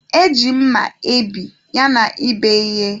E ji mma ebi yana ịbe ihe.